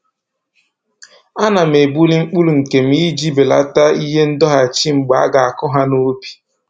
A na m ebuli mkpụrụ nke m iji belata ihe ndọghachi mgbe a ga-akụ ha n'ubi